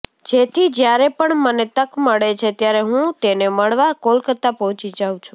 તેથી જ્યારે પણ મને તક મળે છે ત્યારે હું તેને મળવા કોલકાતા પહોંચી જાઉ છું